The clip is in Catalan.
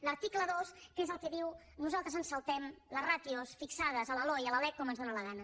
l’article dos què és el que diu nosaltres ens saltem les ràtios fixades a la loe i a la lec com ens dóna la gana